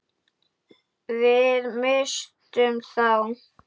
Við misstum þá.